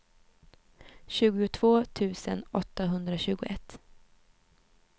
tjugotvå tusen åttahundratjugoett